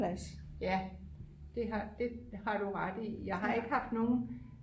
ja det har du ret i jeg har ikke haft nogen